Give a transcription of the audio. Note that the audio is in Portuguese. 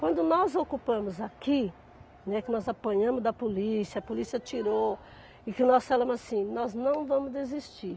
Quando nós ocupamos aqui, né, que nós apanhamos da polícia, a polícia tirou, e que nós falamos assim, nós não vamos desistir.